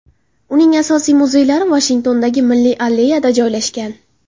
Uning asosiy muzeylari Vashingtondagi Milliy alleyada joylashgan.